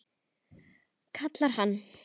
kallar hann.